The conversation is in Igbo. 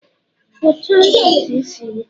kpụchaa ntutu isi gị!